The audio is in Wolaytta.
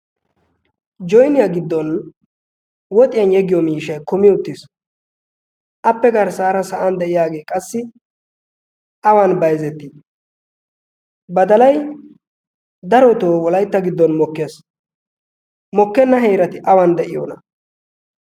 joniyaa giddon woxiyan yeggiyo miishai kumi uttiis appe garssaara sa'an de'iyaagee qassi awan bayzetii badalay daro too wolaitta giddon moe mokkenna heerati awan de'iyoona